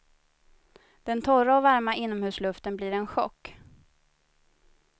Den torra och varma innomhusluften blir en chock.